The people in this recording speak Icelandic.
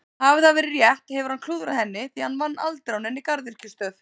Hafi það verið rétt hefur hann klúðrað henni því hann vann aldrei á neinni garðyrkjustöð.